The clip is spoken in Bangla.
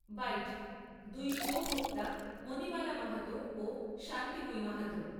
বাইট দুই উপভোক্তা মণিমালা মাহাতো ও শান্তিময়ী মাহাতো।